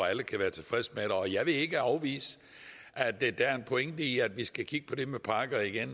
alle kan være tilfredse med og jeg vil ikke afvise at der er en pointe i at vi skal kigge på det med parkerne igen